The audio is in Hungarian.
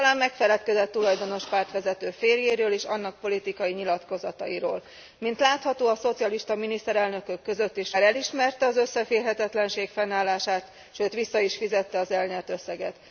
Talán megfeledkezett tulajdonos pártvezető férjéről és annak politikai nyilatkozatairól. Mint látható, a szocialista miniszterelnökök között is van különbség a bolgár elismerte az összeférhetetlenség fennállását, sőt, vissza is fizette az elnyert összeget.